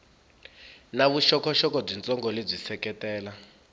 na vuxokoxoko byitsongo lebyi seketela